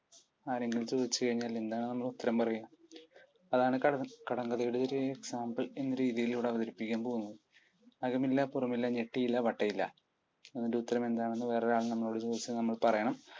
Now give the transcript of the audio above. ആരെങ്കിലും ചോദിച്ചു കഴിഞ്ഞാൽ എന്താണ് നമ്മൾ ഉത്തരം പറയുക? അതാണ് കടങ്കഥയുടെ ഒരു എന്ന രീതിയിൽ ഇവിടെ അവതരിപ്പിക്കാൻ പോകുന്നത്. അകം ഇല്ല പുറം ഇല്ല ഞെട്ടിയില്ല വട്ടയില ഇതിൻ്റെ ഉത്തരം എന്താണെന്ന് വേറൊരാൾ നമ്മളോട് ചോദിച്ചാൽ നമ്മൾ പറയണം